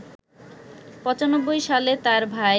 ৯৫ সালে তাঁর ভাই